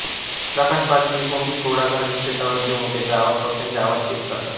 प्रकाश पारखी हे कोंबडी घोडागाडी शेतावरल्या मोटेचा आवाज पक्ष्यांचे आवाज पेश करतात